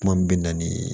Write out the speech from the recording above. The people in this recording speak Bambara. Kuma min bɛ na ni